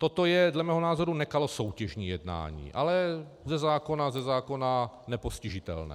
Toto je dle mého názoru nekalosoutěžní jednání, ale ze zákona nepostižitelné.